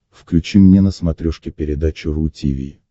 включи мне на смотрешке передачу ру ти ви